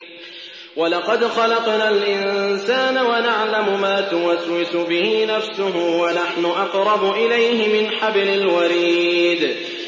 وَلَقَدْ خَلَقْنَا الْإِنسَانَ وَنَعْلَمُ مَا تُوَسْوِسُ بِهِ نَفْسُهُ ۖ وَنَحْنُ أَقْرَبُ إِلَيْهِ مِنْ حَبْلِ الْوَرِيدِ